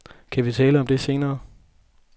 Kan vi tale om det senere?